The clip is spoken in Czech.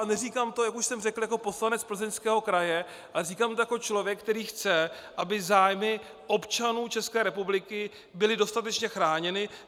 A neříkám to, jak už jsem řekl, jako poslanec Plzeňského kraje, ale říkám to jako člověk, který chce, aby zájmy občanů České republiky byly dostatečně chráněny.